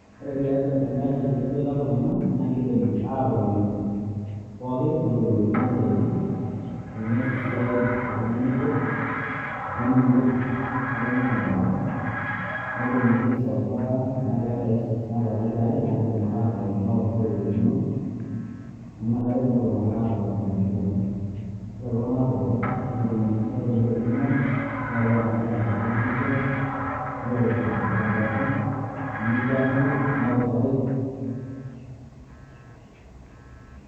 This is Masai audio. ore tiatua te nkaji teneboita iltung'anak naa kidim aatotoni pookin neorikino isiatin pee mees esiai oltung'ani obo, nening'oi netoni teboron, netumoki ai solve tenaa keeta issues naata pokira aare, naa kidim ake aatotoni neororikino ,amu inakata etumoki ilung'anak aatotoni tenkariyiano. ore iltung'anak pookin netoni tolning'o, neetae enkata naas oltung'ani esiai ,neirori teboron, nebuakinoi ,neutaroi.